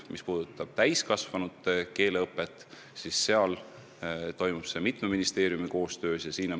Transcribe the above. Mis puudutab täiskasvanute keeleõpet, siis see korraldatakse mitme ministeeriumi koostöös.